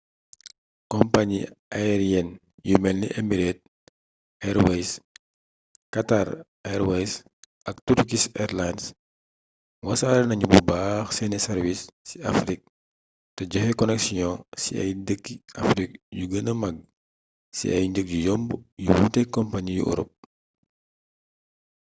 kompañi ayeriyen yu melni emirates airways qatar airways ak turkish airlines wasare nañu bu baax seeni sàrwiis ci afrik te joxe koneksiyon ci ay dëkki afrik yu gëna mag ci ay njëg yu yomb yu wuuteek kompañi yu orop